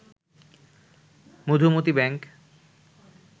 Madhumati bank